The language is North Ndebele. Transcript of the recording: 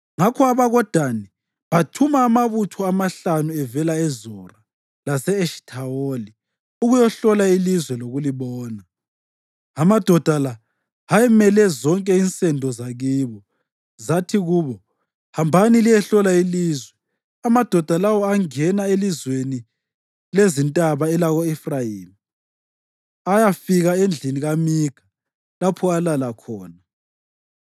Ngakho abakoDani bathuma amabutho amahlanu avela eZora lase-Eshithawoli ukuyahlola ilizwe lokulibona. Amadoda la ayemele zonke insendo zakibo. Zathi kubo, “Hambani liyehlola ilizwe. ” Amadoda lawo angena elizweni lezintaba elako-Efrayimi ayafika endlini kaMikha, lapho alala khona.